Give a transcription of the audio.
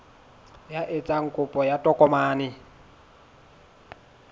ya etsang kopo ya tokomane